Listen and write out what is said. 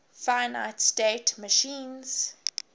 finite state machines